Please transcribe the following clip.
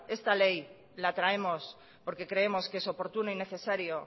esta ley la traemos porque creemos que es oportuno y necesario